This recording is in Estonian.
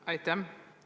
Aitäh!